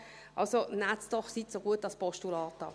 Also, nehmen Sie es doch, seien Sie so gut, als Postulat an.